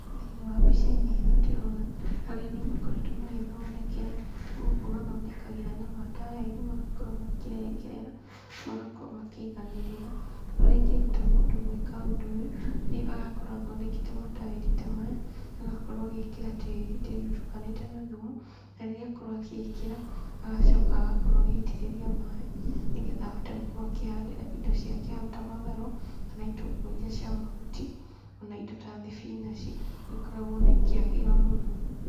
Thĩinĩ wa mbica-inĩ ĩno ndĩrona harĩa andũ makoretwo magĩthondekera gũkũ mathondekagĩra na mataĩri magakorwo makĩrengerera, magakorwo makĩiganĩrĩra, ũrĩa ingĩruta mũndũ gwĩka ũndũ ũyũ, nĩ agakorwo athondekete mataĩri ta maya, agakorwo agĩkĩra tĩri, tĩri ũtukanĩte na thumu, na rĩrĩa akorwo agĩkĩra, agacoka agakorwo agĩitĩrĩria maĩ, nĩgetha ahote gũkorwo akĩhandĩra indo ciake hau ta matharũ, kana itũngũrũ iria cia mahuti, ona indo ta thibinaci, nĩ ikoragwo ikĩagĩra mũno.